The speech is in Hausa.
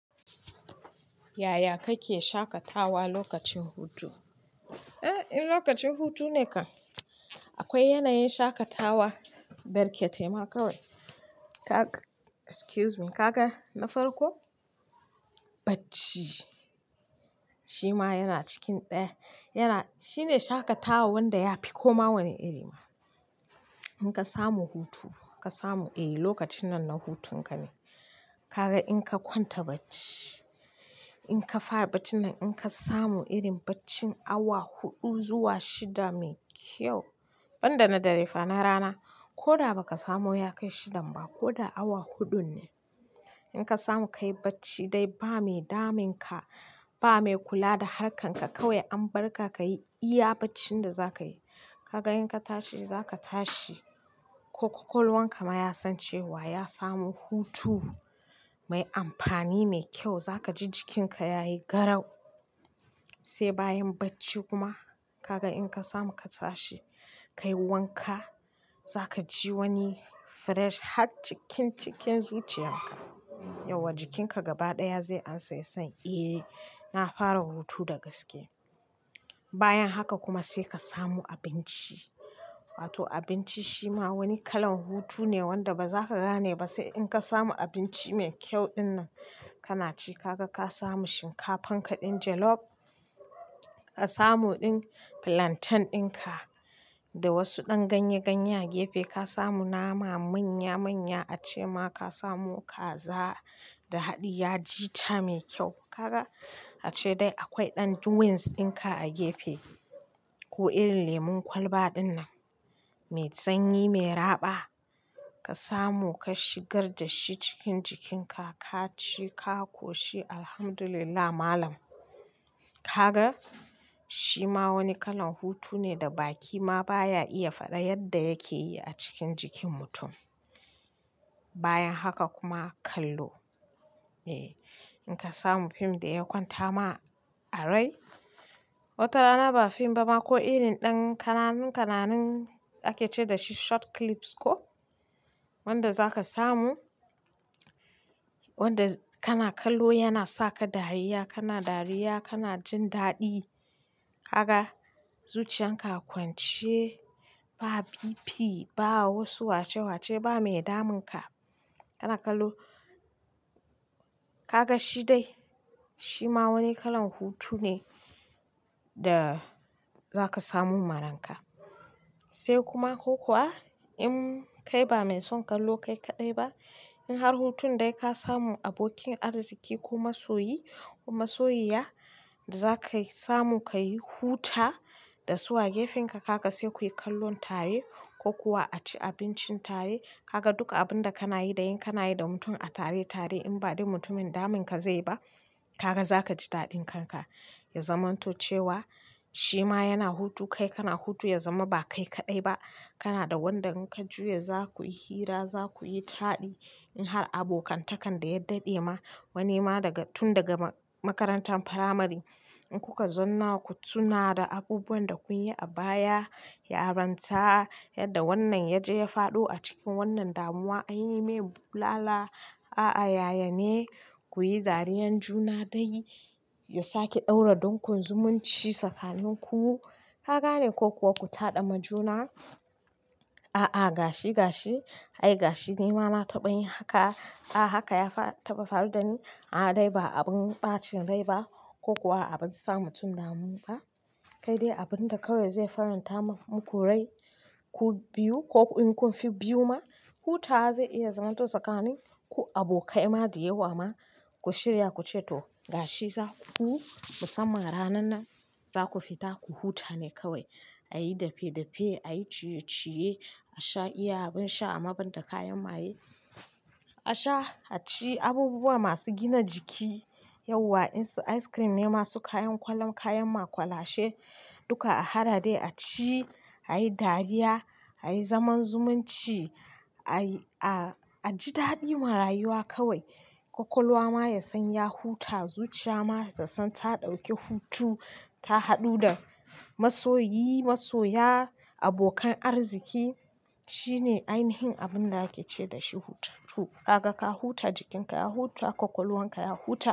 Yaya kake shaƙatawa lokacin hutu? Eh, in lokacin hutu ne kan, akwai yanayin shaƙatawa barkete ma kawai. Kaga, excuse me, ka ga na farko, bacci. Shi ma yana cikin ɗaya. Yana-- shine shaƙatawa wanda ya fi koma wani iri ma. In ka samu hutu, ka samu, eh, lokacin nan na hutun ka ne. Kaga in ka kwanta bacci, in ka fara bacin nan in ka samu irin bacci awa huɗu zuwa shida mai kyau, ban da na dare fa, na rana, ko da ba ka samu ya kai shidan ba ko da awa huɗun ne. In ka samu ka yi bacci dai ba mai damun ka, ba mai kula da harkan ka kawai an barka ka yi iya baccin da za ka yi. Kaga in ka tashi za ka tashi, kwakwalwar ka ma ya san cewa ya samu hutu mai amfani, mai kyau. Za ka ji jikin ka ya yi garau. Sai bayan bacci kuma kaga in ka samu ka tashi, ka yi wanka, za ka ji wani fresh har cikin cikin zuciyan ka. Yauwa jikin ka gaba ɗaya zai amsa ya san, "Eh, na fara hutu da gaske." Bayan haka kuma sai ka samu abinci. Wato abinci shi ma wani kalan hutu ne wanda ba za ka gane ba sai in ka samu abinci mai kyau ɗin nan kana ci. Kaga ka samu shinkafa ka ɗin jollof, ka samu ɗin plantain ɗin ka da wasu ɗan ganye-ganye a gefe, ka samu nama manya-manya ace ma ka samu kaza da haɗiya jita mai kyau. Kaga ace dai akwai ɗan drinks ɗin ka a gefe. Ko irin lemon kwalba ɗin nan mai tsanyi, mai raɓa. Ka samu ka shigar da shi cikin jikin ka, ka ci, ka koshi, alhamdulillah malam. Kaga, shi ma wani kalan hutu ne da baki ma baya iya faɗa yadda yake yi a cikin jikin mutum. Bayan haka kuma kallo. Eh, in ka samu fim da ya kwanta ma a rai. Wata rana ba fim ba ma ko irin ɗan kananun-kananun ake ce da shi short clips ko, wanda za ka samu, wanda kana kallo yana sa ka dariya, kana dariya, kana jin daɗi. Kaga zuciyan ka a kwance ba BP, ba wasu wace-wace, ba mai damun ka. Kana kallo. Kaga shi dai, shi ma wani kalan hutu ne da za ka samu maran ka. Sai kuma ko kuwa in kai ba mai son kallo kai kaɗai ba, in har hutun dai ka samu abokin arziki ko masoyi ko masoyi ya da za ka samu ka yi huta da su a gefen ka, kaga sai kuyi kallon tare ko kuwa a ci abincin tare. Kaga duka abun da kana yi da in kana yi da mutum a tare-tare in ba dai mutumin damun ka zai ba, kaga za ka ji daɗin kanka. Ya zamanto cewa shi ma yana hutu, kai kana hutu, ya zama ba kai kaɗai ba. Kana da wanda in ka juya za ku yi hira, za ku yi taɗi. In har abokantakan da ya daɗe ma, wani ma daga tun daga makarantar firamare in kuka zauna ku tuna da abubuwan da kun yi a baya, ya ranta yadda wannan ya je ya faɗo a cikin wannan damuwa, an yi mai lala. A'a, yaya ne kuyi dariyan juna dai ya sake ɗaura don kun zumunci sakonin ku. Kaga ne ko kuwa ku taɗa ma juna, "A'a, gashi gashi. Ai gashi ni ma na taɓa yin haka. A'a, haka ya taɓa faru da ni. A'a, dai ba abin ɓacin rai ba ko kuwa abin sa mutum damu ba." Kai dai abun da kawai zai faranta muku rai ku biyu ko in kun fi biyu ma, hutawa zai iya zamanto tsakanin ko abokai ma da yawa ma. Ku shirya ku ce to gashi za ku, musamman ranan nan za ku fita ku huta ne kawai. A yi dafe-dafe, a yi ciye-ciye, a sha iyabin sha amma ban da kayan maye. A sha, a ci abubuwa masu gina jiki. Yauwa in su ice cream ne masu kayan kwalan, kayan makwalashe duka a haɗa dai a ci, a yi dariya, a yi zaman zumunci, a yi, a ji daɗi marayuwa kawai. Kwakwalwa ma ya san ya huta, zuciya ma tassan ta ɗauke hutu. Ta haɗu da masoyi, masoya, abokan arziki. Shine ainihin abun da ake ce da shi hutu. Kaga ka huta, jikin ka ya huta, kwakwalwar ka ya huta.